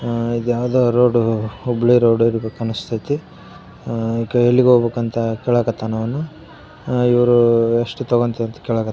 ಆ ಇದು ಯಾವುದೊ ರೋಡ್ ಹುಬ್ಬಳ್ಳಿ ರೋಡ್ ಅನ್ನಿಸತೈತಿ ಆ ಎಲ್ಲಿಗೆ ಹೋಗ್ಬೇಕು ಅಂತ ಕೇಳಾಕ್ ಹತ್ತನು ಅವನು ಹ ಇವರು ಎಷ್ಟು ತಗೋಂತಿ ಅಂತ ಕೇಳಾಕ್ ಹತ್ತಾರ.